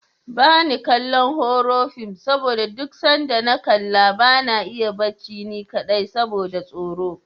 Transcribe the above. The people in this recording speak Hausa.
Bani kallon horo fim saboda duk sanda na kalla bana iya barci ni kaɗai saboda tsoro.